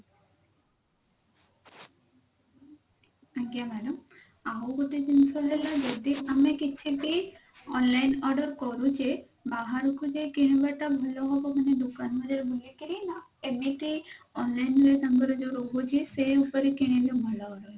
ଆଜ୍ଞା madam ଆଉ ଗୋଟେ ଜିନିଷ ହେଲା ଯଦି ଆମେ କିଛି ବି online order କରୁଛେ ବାହାରକୁ ଯାଇକି କିଣିବା ଟା ଭଲ ହବ ଦୋକାନ ଗୁଡା ବୁଲିକିରି ନା ଏମିତି online ରେ ତାଙ୍କର ଯଉ ରହୁଛି ସେ ଉପରେ କିଣିଲେ ଭଲ ରହିବ?